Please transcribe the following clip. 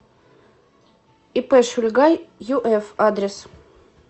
ип шульга юф адрес